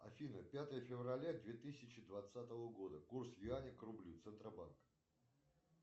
афина пятое февраля две тысячи двадцатого года курс юаня к рублю центробанк